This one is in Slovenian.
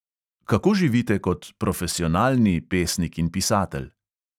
Kako živite kot "profesionalni" pesnik in pisatelj?